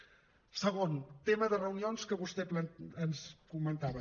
segon tema de reunions que vostè ens comentava